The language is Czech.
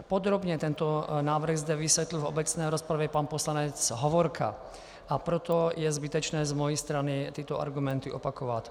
Podrobně tento návrh zde vysvětlil v obecné rozpravě pan poslanec Hovorka, a proto je zbytečné z mé strany tyto argumenty opakovat.